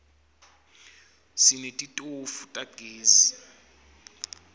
sineti tofu tagezi